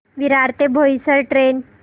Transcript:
विरार ते बोईसर ट्रेन